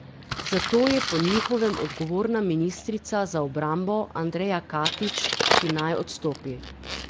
Za to je po njihovem odgovorna ministrica za obrambo Andreja Katič, ki naj odstopi.